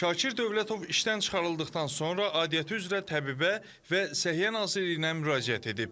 Şakir Dövlətov işdən çıxarıldıqdan sonra aidiyyatı üzrə təbibə və Səhiyyə Nazirliyinə müraciət edib.